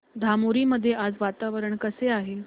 धामोरी मध्ये आज वातावरण कसे आहे